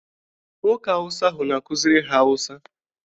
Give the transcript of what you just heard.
Nwoke awụsa ahụ na-akuziri ha awụsa.